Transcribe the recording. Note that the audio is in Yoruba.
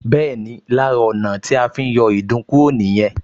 Bẹ́ẹ̀ni, lára ọ̀nà tí a fi ń yọ ìdun kúrò nìyẹn